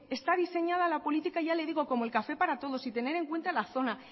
está diseñada la política ya le digo como el café para todos sin tener en cuenta la zona